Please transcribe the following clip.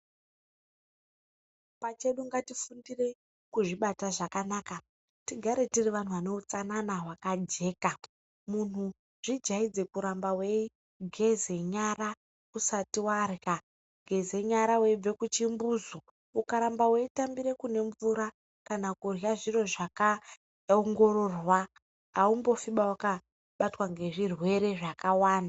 Pachedu ngatifundire kuzvibata zvakanaka, tigare tiri vantu vaneutsanana hwakajeka. Muntu zvijaidze kuramba weigeza nyara usati warya, geza nyara weibva kuchimbuzu. Ukaramba weitambire kunemvura kana kurya zviro zvakaongororwa aumbofiba wakabatwa ngezvirwere zvakawanda.